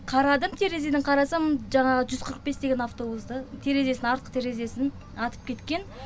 қарадым терезеден қарасам жаңағы жүз қырық бес деген автобусты терезесін артқы терезесін атып кеткен